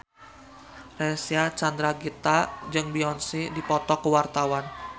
Reysa Chandragitta jeung Beyonce keur dipoto ku wartawan